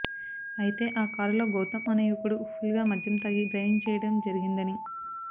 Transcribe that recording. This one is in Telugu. అయితే ఆ కారులో గౌతమ్ అనే యువకుడు ఫుల్ గా మద్యం తాగి డ్రైవింగ్ చేయడం జరిగిందని